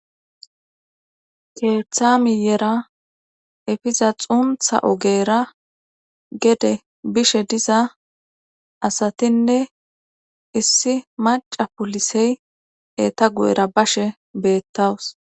keethamiyera efiza xuntha ogeera gede bishe diza asatinne issi maca pulisey eta gu7era bashe beettawus